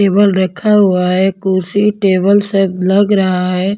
Table रखा हुआ है कुर्सी टेबल सब लग रहा है।